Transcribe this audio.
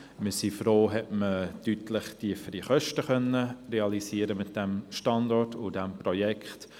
Wir sind froh, dass man deutlich tiefere Kosten realisieren konnte mit diesem Standort und diesem Projekt.